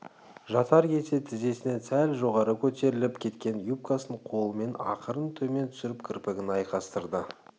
жатар кезде тізесінен сәл жоғары көтеріліп кеткен юбкасын қолымен ақырын төмен түсіріп кірпігін айқастырды